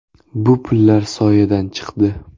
Bu pullar soyadan chiqdi.